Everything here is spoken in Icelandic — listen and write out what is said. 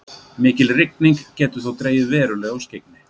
Mikil rigning getur þó dregið verulega úr skyggni.